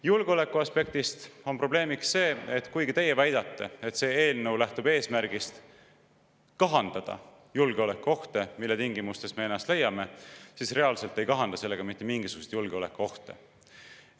Julgeolekuaspektist on probleemiks see, et kuigi teie väidate, et see eelnõu lähtub eesmärgist kahandada julgeolekuohte, mis, siis sellega reaalselt mitte mingisuguseid julgeolekuohte ei kahandata.